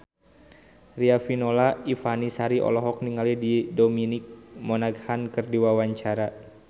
Riafinola Ifani Sari olohok ningali Dominic Monaghan keur diwawancara